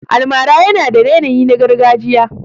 Almara yana da yanayi na gargajiya.